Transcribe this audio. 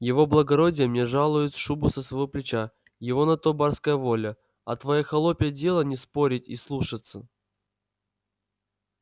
его благородие мне жалует шубу со своего плеча его на то барская воля а твоё холопье дело не спорить и слушаться